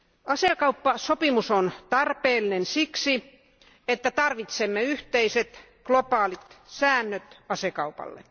Asekauppasopimus on tarpeellinen siksi, että tarvitsemme yhteiset globaalit säännöt asekaupalle.